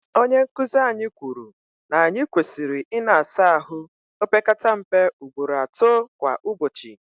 onye nkuzi anyi kwuru na anyi kwesiri ina asa ahu opekata mpe ugboro ato kwa ubochi